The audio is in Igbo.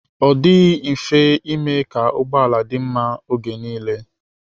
Ọ dịghị mfe ime ka ụgbọala dị mma oge nile.